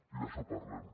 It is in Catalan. i d’això parlem